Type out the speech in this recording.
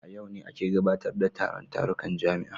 A yau ne ake gudanar da taron tarukan jami'a